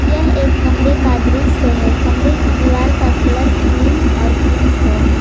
यह एक कमरे का दृश्य है कमरे की दीवार का कलर क्रीम और पिंक है।